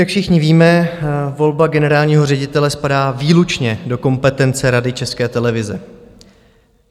Jak všichni víme, volba generálního ředitele spadá výlučně do kompetence Rady České televize.